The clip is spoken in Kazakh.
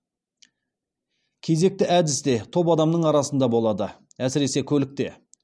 кезекті әдіс те топ адамның арасында болады әсіресе көлікте